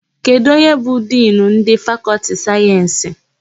Kedụ onye bụ Dinu ndị Fakọltị sayensị?